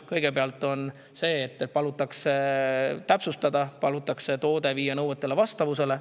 Kõigepealt palutakse täpsustada, viia toode nõuetega vastavusse.